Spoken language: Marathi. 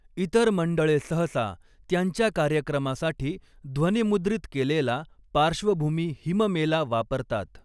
इतर मंडळे सहसा त्यांच्या कार्यक्रमासाठी ध्वनिमुद्रित केलेला पार्श्वभूमी हिममेला वापरतात.